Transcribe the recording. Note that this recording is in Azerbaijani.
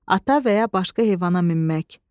ata və ya başqa heyvana minmək.